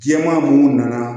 Jɛman munnu nana